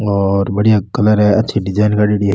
और बढ़िया कलर है अच्छी डिजाइन करेड़ी है।